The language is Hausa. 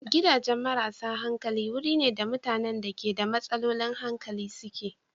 Gidan marasa hankali wuri ne da mutanen da ke da matsalolin hankali suke.